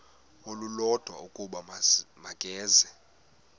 olulodwa ukuba makeze